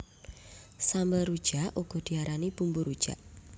Sambel rujak uga diarani bumbu rujak